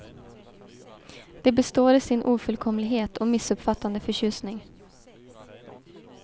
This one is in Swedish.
Det består i sin ofullkomlighet och missuppfattande förtjusning.